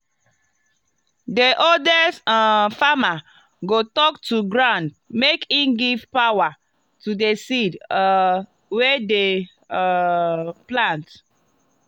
the oldest um farmer go talk to ground make e give power to the seed um wey dem um plant.